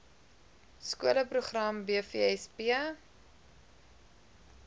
skole program bvsp